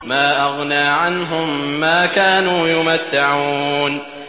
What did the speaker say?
مَا أَغْنَىٰ عَنْهُم مَّا كَانُوا يُمَتَّعُونَ